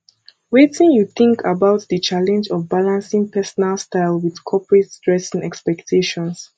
wetin you think about di challenge of balancing personal style with corporate dressing expectations